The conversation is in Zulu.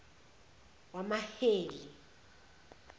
wamaheli